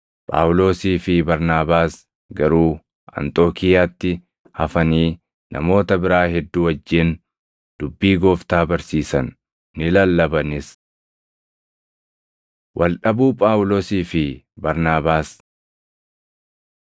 Phaawulosii fi Barnaabaas garuu Anxookiiyaatti hafanii namoota biraa hedduu wajjin dubbii Gooftaa barsiisan; ni lallabanis. Wal dhabuu Phaawulosii fi Barnaabaas